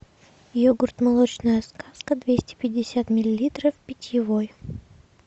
йогурт молочная сказка двести пятьдесят миллилитров питьевой